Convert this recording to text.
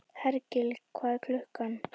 Hergill, hvað er klukkan?